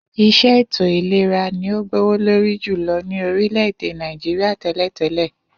Is̩é̩ ètò ìlera ni ó gbówó lórí jùlo̩ ní orílè̩-èdè Nàìjíríà té̩lè̩té̩lè̩